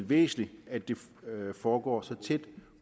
væsentligt at det foregår så tæt